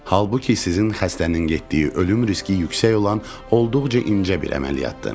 Halbuki sizin xəstənin getdiyi ölüm riski yüksək olan olduqca incə bir əməliyyatdır.